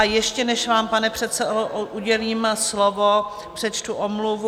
A ještě než vám, pane předsedo, udělím slovo, přečtu omluvu.